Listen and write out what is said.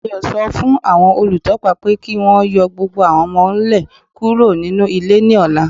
Ọgbẹni Ayo sọ fún awọn olùtọ̀pà pé kí wọn yọ̀ gbogbo awọn ọmọ-nlẹ̀ kúrò nínu ilẹ̀ ni ọ̀là.